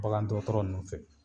Bakan dɔgɔtɔrɔ nunnu fɛ.